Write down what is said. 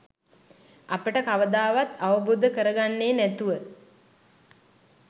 අපට කවදාවත් අවබෝධ කරගන්නේ නැතුව